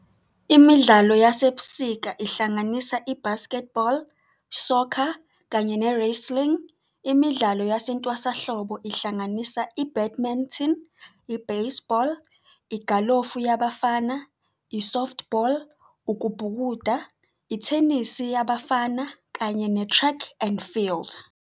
Imidlalo yasebusika ihlanganisa - I-basketball, Soccer, kanye ne-Wrestling. Imidlalo yasentwasahlobo ihlanganisa - I-Badminton, i-baseball, igalofu yabafana, i-Softball, Ukubhukuda, Ithenisi Yabafana, kanye ne-Track and Field.